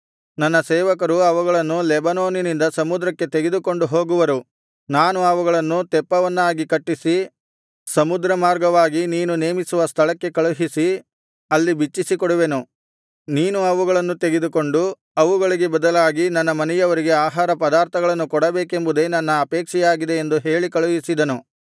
ನನ್ನ ಸೇವಕರು ಅವುಗಳನ್ನು ಲೆಬನೋನಿನಿಂದ ಸಮುದ್ರಕ್ಕೆ ತೆಗೆದುಕೊಂಡು ಹೋಗುವರು ನಾನು ಅವುಗಳನ್ನು ತೆಪ್ಪವನ್ನಾಗಿ ಕಟ್ಟಿಸಿ ಸಮುದ್ರ ಮಾರ್ಗವಾಗಿ ನೀನು ನೇಮಿಸುವ ಸ್ಥಳಕ್ಕೆ ಕಳುಹಿಸಿ ಅಲ್ಲಿ ಬಿಚ್ಚಿಸಿಕೊಡುವೆನು ನೀನು ಅವುಗಳನ್ನು ತೆಗೆದುಕೊಂಡು ಅವುಗಳಿಗೆ ಬದಲಾಗಿ ನನ್ನ ಮನೆಯವರಿಗೆ ಆಹಾರ ಪದಾರ್ಥಗಳನ್ನು ಕೊಡಬೇಕೆಂಬುದೇ ನನ್ನ ಅಪೇಕ್ಷೆಯಾಗಿದೆ ಎಂದು ಹೇಳಿ ಕಳುಹಿಸಿದನು